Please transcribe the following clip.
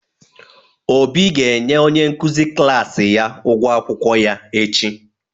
Obi ga-enye onye nkuzi klaasị ya ụgwọ akwụkwọ ya echi.